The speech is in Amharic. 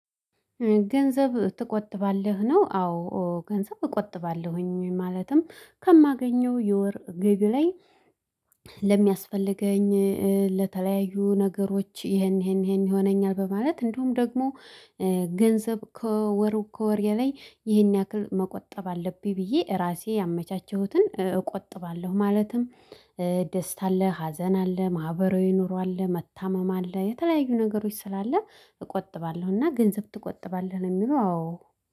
ገንዘብ ትቆጥባለህ ነው? አዎ ገንዘብ እቆጥባለሁኝ ማለትም ከማገኘው የወር ግቢ ላይ ለሚያስፈልገኝ ለተለያዩ ነገሮች ይሄን ይሄን ይሄን ይሆነኛል በማለት እንዲሁም ደግሞ ገንዘብ ከወር ከወሬ ላይ ይሄን ያክል መቆጠብ አለብኝ ብዬ ራሴ ያመቻቸሁትን እቆጥባለሁ። ማለትም ደስታ አለ ሀዘን አለ ማህበራዊ ኑሮ አለ መታመም አለ የተለያዩ ነገሮች ስላለ እቆጥባለሁ እና ገንዘብ ትቆጥባለህ ለሚለው አዎ